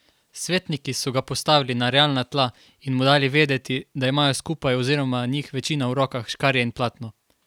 Svetniki so ga postavili na realna tla in mu dali vedeti, da imajo skupaj oziroma njih večina v rokah škarje in platno.